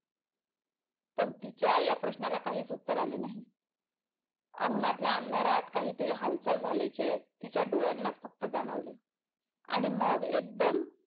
तर तिच्या या प्रश्नाला काहीच उत्तर आले नाही अंगणातल्या अंधारात काहीतरी हालचाल झाल्याचे तिच्या डोळ्यांना च फक्त जाणवले आणि मग एकदम,